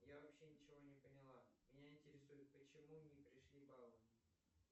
я вообще ничего не поняла меня интересует почему не пришли баллы